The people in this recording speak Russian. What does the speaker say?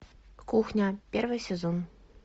кухня первый сезон